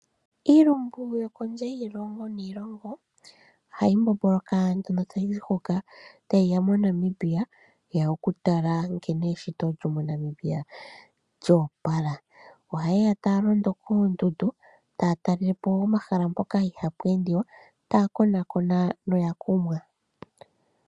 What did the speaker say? Iilumbu yokondje yiilongo niilongo ohayi mbomboloka ano tayizi hoka tayiya moNamibia tayiya okukatala nkene eshito lyo moNamibia lyo opala. ohayeya taya londo koondundu taya talelepo omahala mpoka ihapu endiwa taya konaakona noya kumwa .